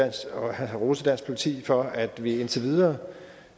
og rose dansk politi for at vi indtil videre